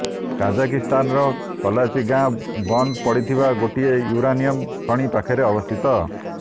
କଜାକିସ୍ତାନର କଲାଚୀ ଗାଁ ବନ୍ଦ ପଡ଼ିଥିବା ଗୋଟିଏ ୟୁରାନିୟମ୍ ଖଣି ପାଖରେ ଅବସ୍ଥିତ